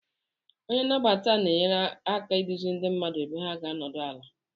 Onye nnabata na-enyere aka iduzi ndị mmadụ ebe ha ga-anọdụ ala.